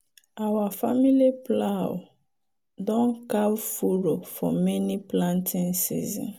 our family plow don carve furrow for many planting season.